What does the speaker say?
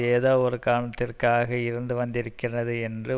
ஏதோவொரு காரணத்திற்காக இருந்து வந்திருக்கின்றது என்று